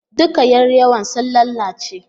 Duka yar yawon sun lalace